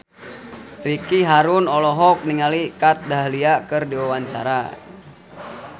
Ricky Harun olohok ningali Kat Dahlia keur diwawancara